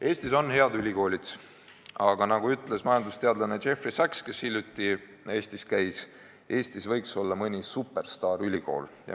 Eestis on head ülikoolid, aga nagu on öelnud majandusteadlane Jeffrey Sachs, kes hiljuti Eestis käis, Eestis võiks olla mõni superstaarülikool.